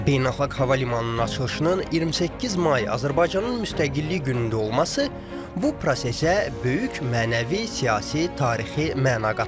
Beynəlxalq hava limanının açılışının 28 may Azərbaycanın müstəqillik günündə olması bu prosesə böyük mənəvi, siyasi, tarixi məna qatır.